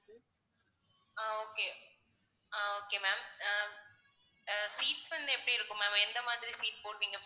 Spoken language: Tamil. அஹ் okay ah okay ma'am ah seats வந்து எப்படி இருக்கும் ma'am எந்த மாதிரி seat போடுவீங்க